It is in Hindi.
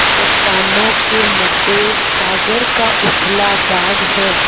चट्टानों के मध्य सागर का उथला भाग है